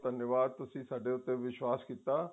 ਧੰਨਵਾਦ ਤੁਸੀਂ ਸਾਡੇ ਉੱਪਰ ਵਿਸ਼ਵਾਸ ਕੀਤਾ